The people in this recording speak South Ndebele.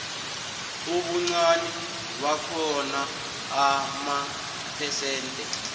ubuncani bakhona amaphesente